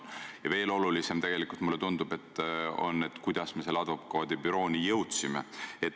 Ja veel olulisem, mulle tundub, on tegelikult see, kuidas me selle advokaadibürooni jõudsime.